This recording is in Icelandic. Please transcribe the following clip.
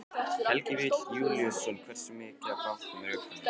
Helgi Vífill Júlíusson: Hversu mikið af bátnum er upprunalegt?